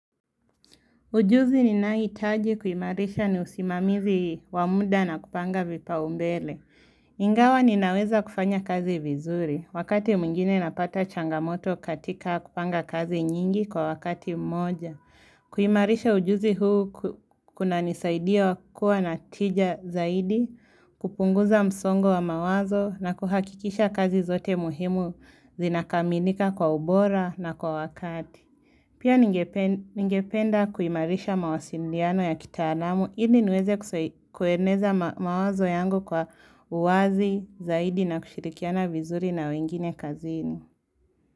Ujuzi ninaohitaji kuimarisha ni usimamizi wa muda na kupanga vipa umbele. Ingawa ninaweza kufanya kazi vizuri. Wakati mwingine napata changamoto katika kupanga kazi nyingi kwa wakati mmoja. Kuimarisha ujuzi huu kuna nisaidia kua na tija zaidi, kupunguza msongo wa mawazo na kuhakikisha kazi zote muhimu zinakaminika kwa ubora na kwa wakati. Pia ningependa kuimarisha mawasiliano ya kitaalamu, ili niweze kueneza mawazo yangu kwa uwazi zaidi na kushirikiana vizuri na wengine kazini.